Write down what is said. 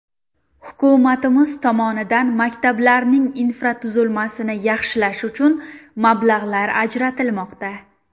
Hukumatimiz tomonidan maktablarning infratuzilmasini yaxshilash uchun mablag‘lar ajratilmoqda.